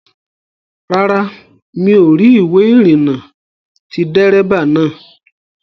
Rárá, mi ò rí ìwé ìrìnnà ti dérébà naa